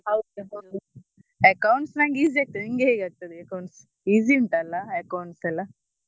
ಹೌದು ಹೌದು Accounts ನನ್ಗೆ easy ಆಗ್ತದೆ ನಿನ್ಗೆ ಹೇಗೆ ಆಗ್ತದೆ accounts easy ಉಂಟಲ್ಲ accounts ಯೆಲ್ಲ?